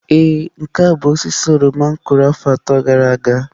Ee nke a bụ osisi oroma m kụrụ afọ atọ gara aga.